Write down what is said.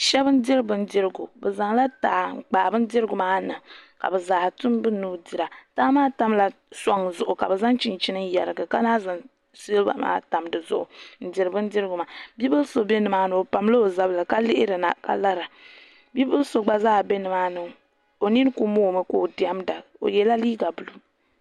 shɛba n-diri bindirigu bɛ zaŋla taha n-kpaai bindirigu maa niŋ ka bɛ zaa tim bɛ nuu dira taha maa tamla sɔŋ zuɣu ka bɛ zaŋ chinchini yarigi ka lahi zaŋ siliba maa tam di zuɣu n-diri bindirigu maa bi' bil' so be ni maa ni o pamla o zabiri ka lihirina ka lara bi' bil' so gba zaa be ni maa ni o nini kuli moomi ka o diɛmda o yɛla liiga buluu